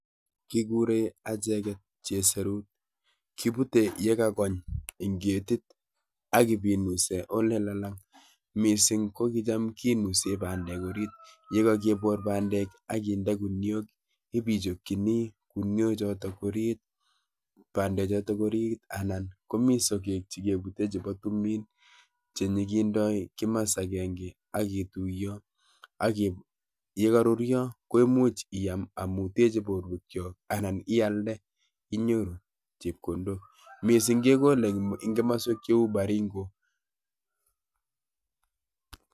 Kikure acheket cheserut. Kipute yekakony eng ketit ak ipinuse olelalang mising ko kicham kenuse bandek orit, yekakepor bandek ak kinde kuniok ipichokchini kuniochoto orit, bandechoto orit anan komi sokek chikepute chepo tumin chenyikendoi kimas akenke aketuiyo, yekaruryo ko imuch iam amu teche borwekcho anan ialde inyoru chepkondok. Mising kekole eng kimaswek cheu Baringo.